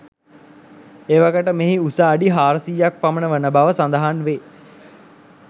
එවකට මෙහි උස අඩි 400 ක් පමණ වන බව සඳහන් වේ.